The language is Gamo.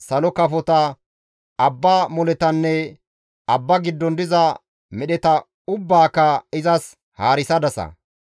salo kafota, abba moletanne abba giddon diza medheta ubbaaka izas haarisadasa.